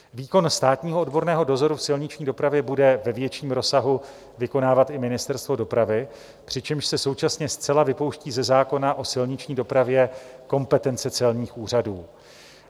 Výkon státního odborného dozoru v silniční dopravě bude ve větším rozsahu vykonávat i Ministerstvo dopravy, přičemž se současně zcela vypouští ze zákona o silniční dopravě kompetence celních úřadů.